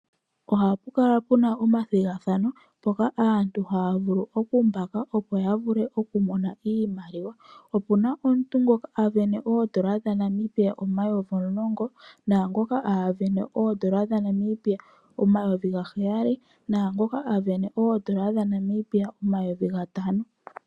Ohapu kala puna omathigathano mpoka aantu haya vulu okumbaaka opo yavule okumona iimaliwa . Opuna omuntu ngoka asindana N$10000, naangoka asindana N$7000, naangoka asindana M$5000.